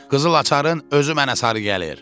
Qızıl açarın özü mənə sarı gəlir!